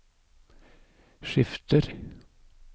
skifter